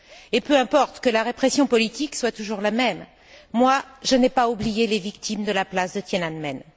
Et peu importe que la répression politique soit toujours la même, moi je n'ai pas oublié les victimes de la place Tian'anmen.